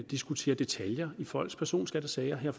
at diskutere detaljer i folks personskattesager her